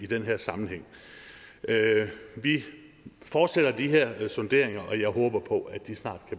den her sammenhæng vi fortsætter de her sonderinger og jeg håber på at de snart